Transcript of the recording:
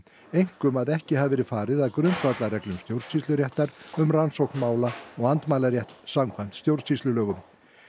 einkum að ekki hafi verið farið að grundvallarreglum stjórnsýsluréttar um rannsókn mála og andmælarétt samkvæmt stjórnsýslulögum